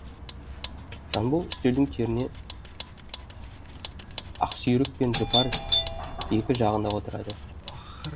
жанбол үстелдің теріне ақсүйрік пен жұпар екі жағына отырады